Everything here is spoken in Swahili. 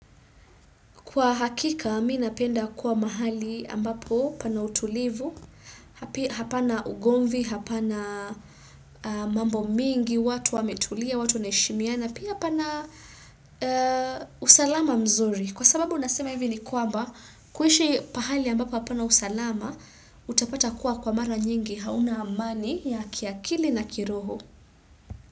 Kwa hakika, minapenda kuwa mahali ambapo pana utulivu, hapana ugonvi, hapana mambo mingi, watu wametulia, watu neshimina, na pia pana usalama mzuri. Kwa sababu, nasema hivi ni kwamba, kuhishi pahali ambapo apana usalama, utapata kuwa kwa mara nyingi hauna amani ya kiakili na kiroho.